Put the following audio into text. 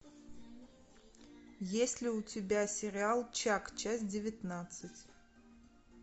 есть ли у тебя сериал чак часть девятнадцать